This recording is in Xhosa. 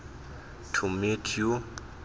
to meet you